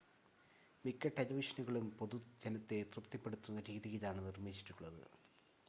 മിക്ക ടെലിവിഷനുകളും പൊതുജനത്തെ തൃപ്തിപ്പെടുത്തുന്ന രീതിയിലാണ് നിർമ്മിച്ചിട്ടുള്ളത്